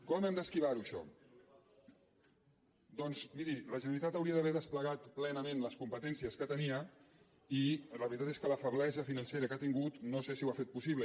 com hem d’esquivar ho això doncs miri la generalitat hauria d’haver desplegat plenament les competències que tenia i la veritat és que la feblesa financera que ha tingut no sé si ho ha fet possible